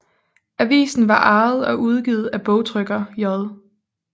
Avisen var ejet og udgivet af bogtrykker J